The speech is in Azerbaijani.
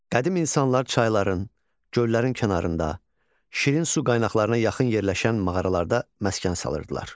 Qədim insanlar çayların, göllərin kənarında, şirin su qaynaqlarına yaxın yerləşən mağaralarda məskən salırdılar.